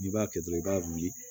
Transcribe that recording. N'i b'a kɛ dɔrɔn i b'a wuli